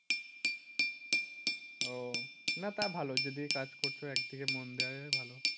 ও না তা ভালো যদি কাজ করছো একদিকে মন দেওয়ায় ভালো।